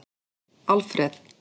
Alfreð